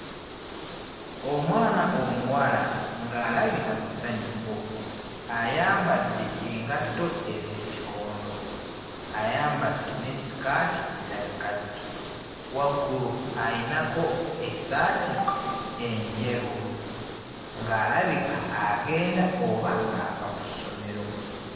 Omwana omuwala ng'alabika musanyufu ayambadde engatto ez'ekikondo ayambadde ne ssikaati eya kkaki waggulu ayinako essaati enjeru ng'alabika agenda oba ng'ava ku ssomero.